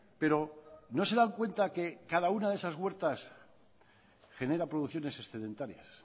pero no se dan cuenta que cada una de esas huertas genera producciones excedentarias